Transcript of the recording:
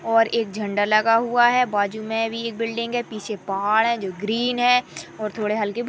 और एक झंडा लगा हुआ है बाजु में भी एक बिल्डिंग है पीछे पहाड़ है जो ग्रीन है और थोड़े हल्के फुल्के --